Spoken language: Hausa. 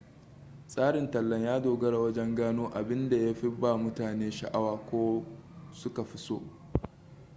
tsarin tallan ya dogara wajen gano abinda ya fi ba mutane sha'awa ko su ka fi so